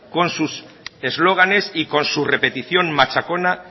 con sus eslóganes y con su repetición machacona